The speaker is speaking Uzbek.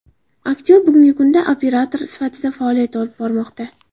Aktyor bugungi kunda operator sifatida faoliyat olib bormoqda.